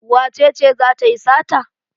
Wace ce za ta yi sata?